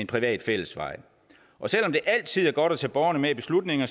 privat fællesvej og selv om det altid er godt at tage borgerne med i beslutninger